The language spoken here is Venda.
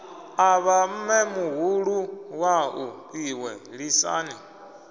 avha mmemuhulu wau iwe lisani